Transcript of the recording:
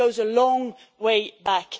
That goes a long way back.